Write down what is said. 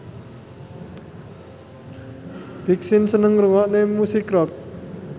Big Sean seneng ngrungokne musik rock